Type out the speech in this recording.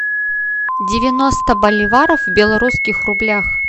девяносто боливаров в белорусских рублях